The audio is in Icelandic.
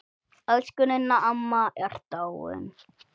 Elsku Ninna amma er dáin.